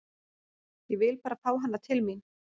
Ég vil bara fá hana til mín.